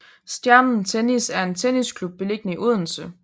Stjernen Tennis er en tennisklub beliggende i Odense